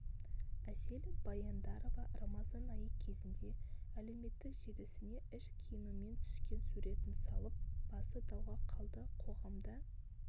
әсел баяндарова рамазан айы кезінде әлеуметтік желісіне іш киімімен түскен суретін салып басы дауға қалды қоғамда